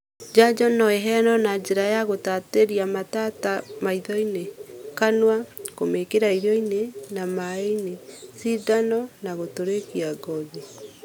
Njanjo no ĩheano na njĩra ya gũtatĩria matata maitho-inĩ, kanua (kũmĩkĩra irio-inĩ na maaĩ -inĩ), cindano na gũtũrĩkia ngothi.